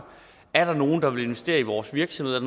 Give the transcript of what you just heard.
er der nogen der vil investere i vores virksomhed er